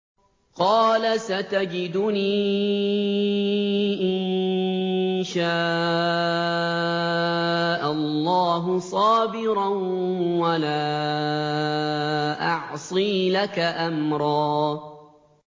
قَالَ سَتَجِدُنِي إِن شَاءَ اللَّهُ صَابِرًا وَلَا أَعْصِي لَكَ أَمْرًا